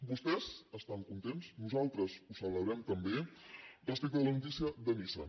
vostès estan contents nosaltres ho celebrem també respecte de la notícia de nissan